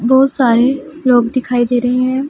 बहोत सारे लोग दिखाई दे रहे हैं--